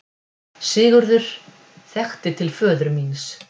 Sigurður þekkti til föður míns.